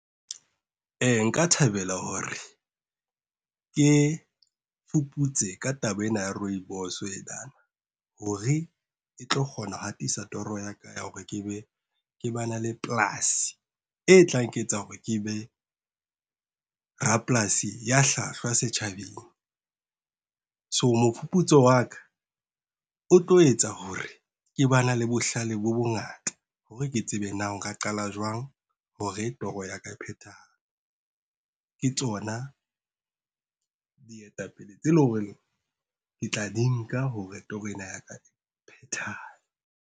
Nka thabela hore ke fuputse ka taba ena ya rooibos enana hore e tlo kgona ho hatisa toro ya ka ya hore ke ba na le polasi. E tla nketsa hore ke be, rapolasi ya hlwahlwa setjhabeng. So mofuputso wa ka o tlo etsa hore ke ba na le bohlale bo bongata hore ke tsebe na nka qala jwang hore toro ya ka e phethahale. Ke tsona, dietapele tse leng hore ke tla di nka hore toro ena ya ka e phethahale.